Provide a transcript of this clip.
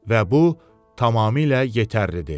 Və bu tamamilə yetərlidir.